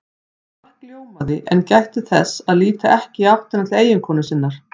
Mark ljómaði en gætti þess að líta ekki í áttina til eiginkonu sinnar.